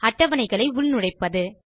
அட்டவணைகளை உள் நுழைப்பது